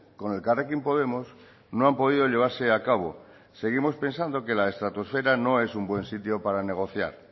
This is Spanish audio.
con elkarrekin podemos no han podido llevarse a cabo seguimos pensando que la estratosfera no es un buen sitio para negociar